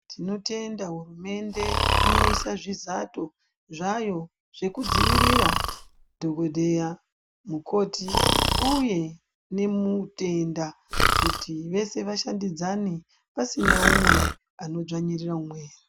Tinotenda hurumende inoisa zvizato zvayo zvekudzivirira dhokodheya, mukoti, uye nemutenda ,kuti vese vashandidzane pasina umwe anodzvanyirira umweni.